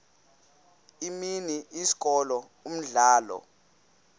imini isikolo umdlalo